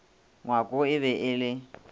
ngwako e be e le